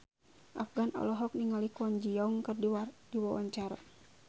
Afgan olohok ningali Kwon Ji Yong keur diwawancara